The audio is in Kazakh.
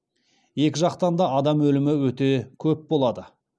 екі жақтан да адам өлімі өте көп болады